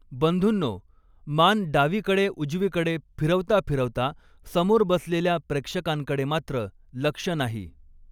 बंधुंनो मान डावीकडेउजवीकडे फीरवताफीरवता, समोर बसलेल्या प्रेक्षकान कडे मात्र लक्ष नाही.